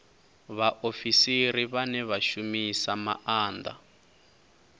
vhaofisiri vhane vha shumisa maanda